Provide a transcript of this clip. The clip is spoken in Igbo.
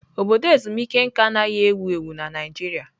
Obodo ezumike nka anaghị ewu ewu na Naịjirịa.